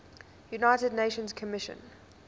united nations commission